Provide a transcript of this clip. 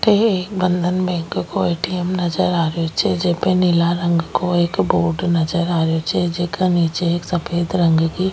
अठे एक बंधन बैंक को ए.टी.एम. नजर आ रेहो छे जेके जेके निचे एक सफ़ेद रंग की --